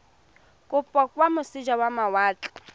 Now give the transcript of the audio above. kopo kwa moseja wa mawatle